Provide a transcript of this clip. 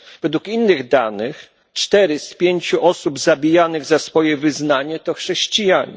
Według innych danych cztery z pięciu osób zabijanych z powodu wyznania to chrześcijanie.